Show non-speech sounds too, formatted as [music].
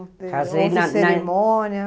casei na na [unintelligible]